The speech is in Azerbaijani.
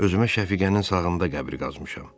Özümə Şəfiqənin sağında qəbri qazmışam.